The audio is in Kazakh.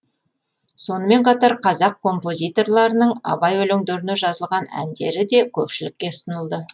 сонымен қатар қазақ композиторларының абай өлеңдеріне жазылған әндері де көпшілікке ұсынылды